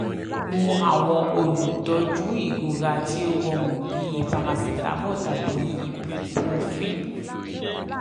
mu awọn olutọju irora ti o rọrun bi paracetamol tàbí ibuprofen